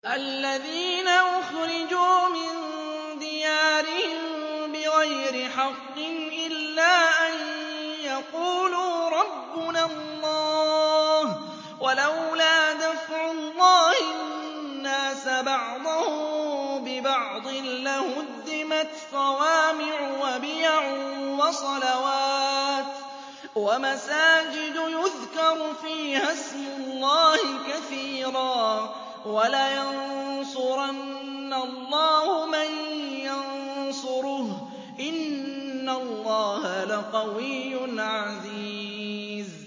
الَّذِينَ أُخْرِجُوا مِن دِيَارِهِم بِغَيْرِ حَقٍّ إِلَّا أَن يَقُولُوا رَبُّنَا اللَّهُ ۗ وَلَوْلَا دَفْعُ اللَّهِ النَّاسَ بَعْضَهُم بِبَعْضٍ لَّهُدِّمَتْ صَوَامِعُ وَبِيَعٌ وَصَلَوَاتٌ وَمَسَاجِدُ يُذْكَرُ فِيهَا اسْمُ اللَّهِ كَثِيرًا ۗ وَلَيَنصُرَنَّ اللَّهُ مَن يَنصُرُهُ ۗ إِنَّ اللَّهَ لَقَوِيٌّ عَزِيزٌ